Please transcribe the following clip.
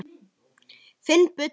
Finn buddu.